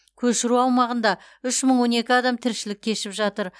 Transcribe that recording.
көшіру аумағында үш мың он екі адам тіршілік кешіп жатыр